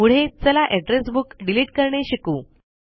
पुढे चला address book delete करणे शिकू